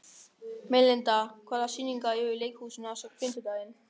Melinda, hvaða sýningar eru í leikhúsinu á fimmtudaginn?